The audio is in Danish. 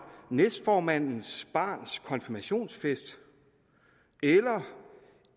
næstformandens barns konfirmationsfest eller